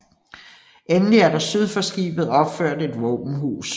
Endelig er der syd for skibet opført et våbenhus